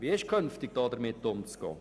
Wie ist künftig damit umzugehen?